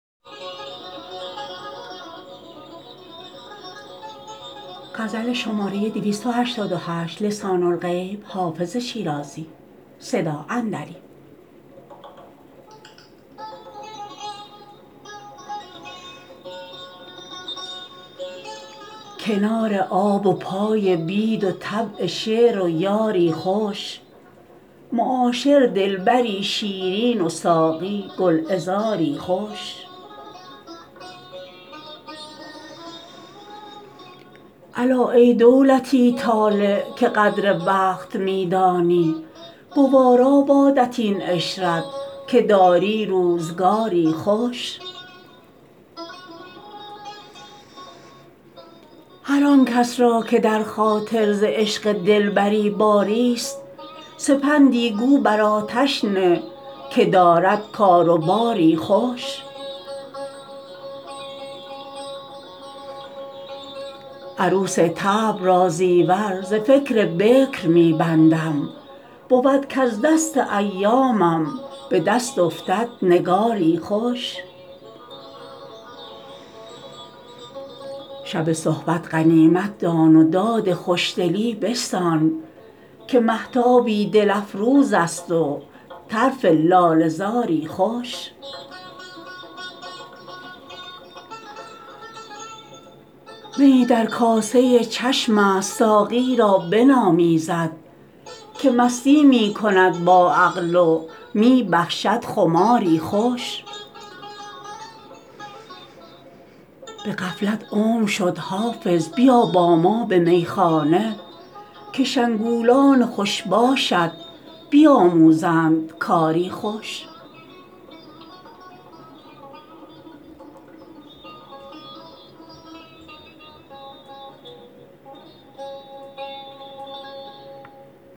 کنار آب و پای بید و طبع شعر و یاری خوش معاشر دلبری شیرین و ساقی گلعذاری خوش الا ای دولتی طالع که قدر وقت می دانی گوارا بادت این عشرت که داری روزگاری خوش هر آن کس را که در خاطر ز عشق دلبری باریست سپندی گو بر آتش نه که دارد کار و باری خوش عروس طبع را زیور ز فکر بکر می بندم بود کز دست ایامم به دست افتد نگاری خوش شب صحبت غنیمت دان و داد خوشدلی بستان که مهتابی دل افروز است و طرف لاله زاری خوش میی در کاسه چشم است ساقی را بنامیزد که مستی می کند با عقل و می بخشد خماری خوش به غفلت عمر شد حافظ بیا با ما به میخانه که شنگولان خوش باشت بیاموزند کاری خوش